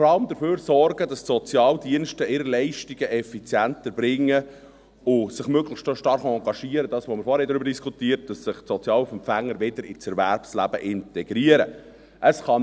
Sie will hingegen vor allem dafür sorgen, dass die Sozialdienste ihre Leistungen effizient erbringen und sich möglichst auch stark dafür engagieren, dass sich die Sozialhilfeempfänger wieder ins Erwerbsleben integrieren – das, worüber wir vorhin diskutiert haben.